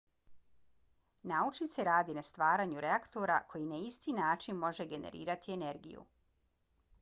naučnici rade na stvaranju reaktora koji na isti način može generirati energiju